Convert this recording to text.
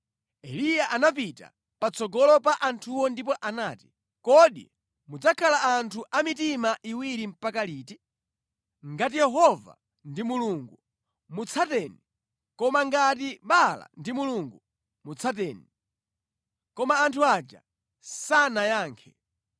Eliya anapita patsogolo pa anthuwo ndipo anati, “Kodi mudzakhala anthu a mitima iwiri mpaka liti? Ngati Yehova ndi Mulungu, mutsateni; koma ngati Baala ndi Mulungu, mutsateni.” Koma anthu aja sanayankhe.